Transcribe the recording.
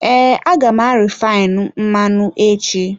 Ee, a ga m arifainu mmanụ echi.